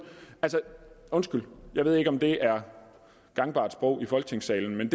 undskyld jeg ved ikke om det er gangbart sprog i folketingssalen men